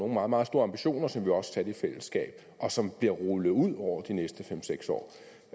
meget meget store ambitioner som vi også satte i fællesskab og som bliver rullet ud hen over de næste fem seks år